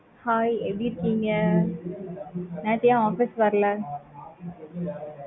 hi எப்படி இருக்கீங்க? நேத்து ஏன் office க்கு வரல?